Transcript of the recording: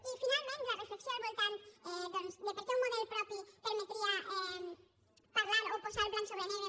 i finalment la reflexió al voltant doncs de per què un model propi permetria parlar o posar blanc sobre negre